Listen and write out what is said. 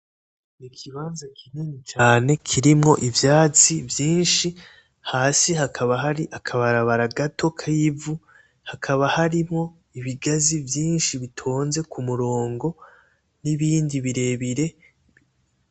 Ikibanza kinini cane kirimwo ivaytsi hasi hakaba hari akabarabara gato kivu, hakaba harimwo ibigazi vyinshi bitonze kumurongo nibindi birebire.